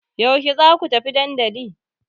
Yaushe za ku tafi dandali?